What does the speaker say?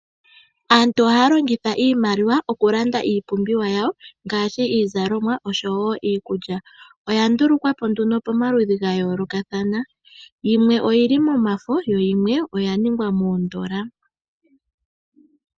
Aantu ohaya longitha iimaliwa okulanda iipumbiwa yawo ngaashi iizalomwa oshowo iikulya. Oya ndulukwa po nduno pomaludhi gayoolokathana yimwe oyili momafo yo yimwe oya ningwa miikukutu.